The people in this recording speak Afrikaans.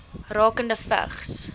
rakende vigs